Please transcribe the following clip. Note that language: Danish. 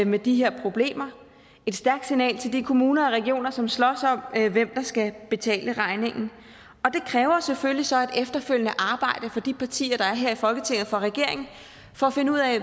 med de her problemer et stærkt signal til de kommuner og regioner som slås om hvem der skal betale regningen og det kræver selvfølgelig så et efterfølgende arbejde for de partier der er her i folketinget og for regeringen for at finde ud af